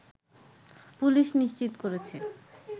police নিশ্চিত করেছে